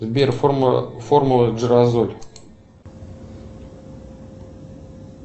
сбер формула джеразоль